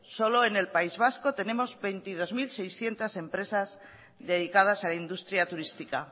solo en el país vasco tenemos veintidós mil seiscientos empresas dedicadas a la industria turística